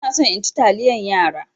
Ina so in ci taliyan yara.